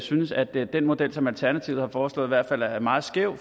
synes at den model som alternativet har foreslået i hvert fald er meget skæv